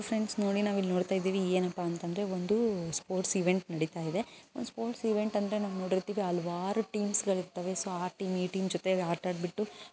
Friends ನೋಡಿ ನವಿಲ್ ನೋಡ್ತಾ ಇದೀವಿ ಏನಪ್ಪಾ ಅಂದ್ರೆ ಸ್ಪೋರ್ಟ್ಸಿಗ್ ಬಂದ್ ನಡಿತಾ ಇದೆ ಸ್ಪೋರ್ಟ್ಸ್ ಇವೆಂಟ್ ಅಂದ್ರೆ ನಾವು ನೋಡಿರ್ತೀವಿ ಹಲವಾರು ಟೀಮ್ ಗಳು ಸಾರಿ ಮೀಟಿಂಗ್ ಜೊತೆ ಆಟ ಆಡಿಬಿಟ್ಟು.